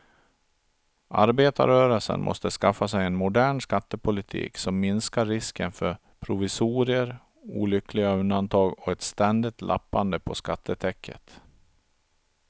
Arbetarrörelsen måste skaffa sig en modern skattepolitik som minskar risken för provisorier, olyckliga undantag och ett ständigt lappande på skattetäcket.